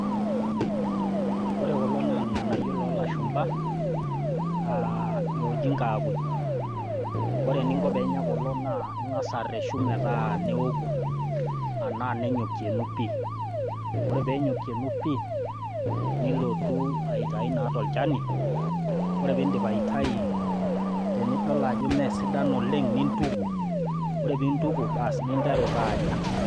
Kore kulo naa ilng'anayio lo lashumba, oji nkaakuj. Ore eninko pee inya kuna naa ing'as areshu metaa neoku, anaa nenyokuenu pii. Ore pee nyokuenu pii, nilotu aitai naa tolchani, ore pee indip aitayu, tenidol ajo mee sidan oleng, nintuku ore pee intuku, bas ninteru taa anya.